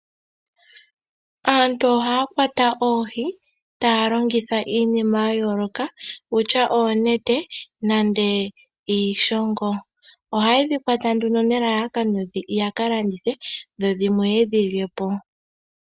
Aantu ohaya kwata oohi taya longitha iinima ya yooloka kutya oonete nenge iishongo. Ohaye dhi kwata nelalakano yaka landithe dhodhimwe yedhi lyepo.